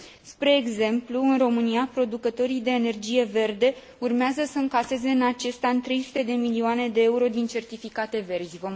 Spre exemplu, în România, producătorii de energie verde urmează să încaseze în acest an 300 de milioane de euro din certificate verzi.